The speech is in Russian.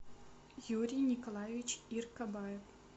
юрий николаевич иркобаев